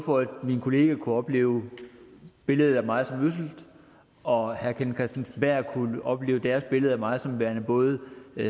for at mine kollegaer kunne opleve billedet af mig som ødsel og herre kenneth kristensen berth kunne opleve deres billede af mig som værende både